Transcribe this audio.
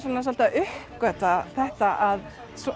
svolítið að uppgötva það að